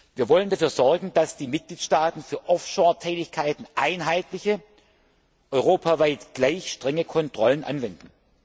Wir wollen dafür sorgen, dass die Mitgliedstaaten für Offshore Tätigkeiten einheitliche, europaweit gleich strenge Kontrollen anwenden.